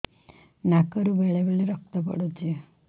ନାକରୁ ବେଳେ ବେଳେ ରକ୍ତ ପଡୁଛି